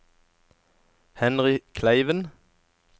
Henry Kleiven